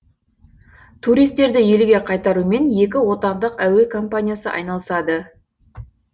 туристерді елге қайтарумен екі отандық әуе компаниясы айналысады